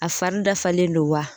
A fari dafalen don wa?